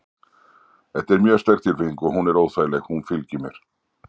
Þetta er mjög sterk tilfinning og hún er óþægileg. hún fylgir mér.